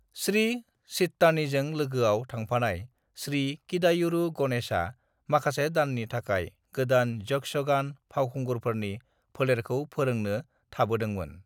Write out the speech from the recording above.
श्री चित्तानीजों लोगोआव थांफानाय श्री किदायूरू गणेशआ माखासे दाननि थाखाय गोदान यक्षगान फावखुंगुरफोरनि फोलेरखौ फोरोंनो थाबोदों मोन।